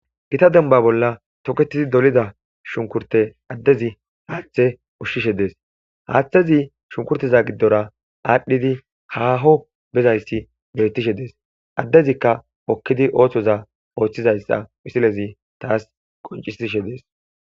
Gita demba bolla toketidi dolida shunkurte addezi haaththe ushshishe dees haaththezi shunkurteza giddora aadhdhidi haaho bezayssi beettishe dees addezikka okkidi ooththoza ooththizayssa wisilezi taas qoncisishe dees.